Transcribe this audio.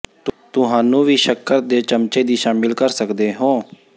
ਤੁਹਾਨੂੰ ਵੀ ਸ਼ੱਕਰ ਦੇ ਚਮਚੇ ਦੀ ਸ਼ਾਮਿਲ ਕਰ ਸਕਦੇ ਹੋ